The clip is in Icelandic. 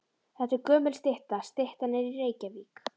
Þetta er gömul stytta. Styttan er í Reykjavík.